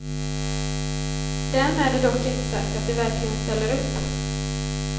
Därmed är dock inte sagt att de verkligen ställer upp.